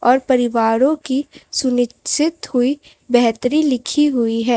और परिवारों की सुनिश्चित हुई बेहतरी लिखी हुई है।